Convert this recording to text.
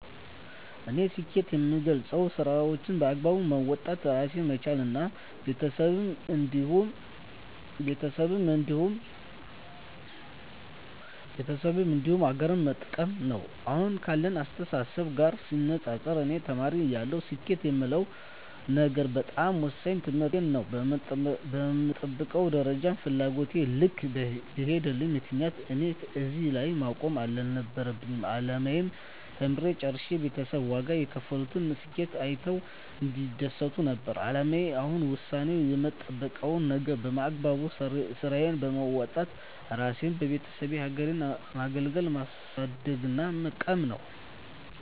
እኔ ስኬትን የምገልፀው ስራዎቸን በአግባቡ መወጣት እራሴን መቻል እና ቤተሰቤን እንዲሁም ሀገሬን መጥቀም ነው። አሁን ካለኝ አስተሳሰብ ጋር ሲነፃፀር እኔ ተማሪ እያለሁ ስኬት የምለው ነገር በጣም ወሳኙ ትምህርቴን ነው በምጠብቀው ደረጃና ፍላጎቴ ልክ ባይሄድም ምክንያቱም እኔ እዚህ ላይ መቆም አልነበረም አላማዬ ተምሬ ጨርሸ ቤተሰብ ዋጋ የከፈሉበትን ስኬቴን አይተው እንዲደሰቱ ነበር አላማዬ አሁን ወሳኙ የምጠብቀው ነገር በአግባቡ ስራዬን በወጣት እራሴንና የቤተሰቤን ሀገሬን ማገልገልና ማሳደግና መጥቀም ነው።